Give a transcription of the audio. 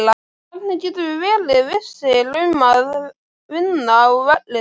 Hvernig getum við verið vissir um að vinna á vellinum?